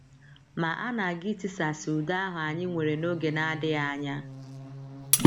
Ma a na - aga itisasị udo ahụ anyị nwere n’oge na - adịghị anya.